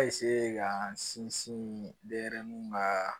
A ka n sinsin denyɛrɛnin ma